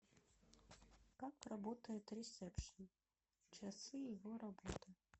как работает ресепшн часы его работы